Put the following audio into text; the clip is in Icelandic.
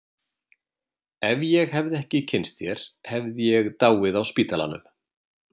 Ef ég hefði ekki kynnst þér hefði ég dáið á spítalanum.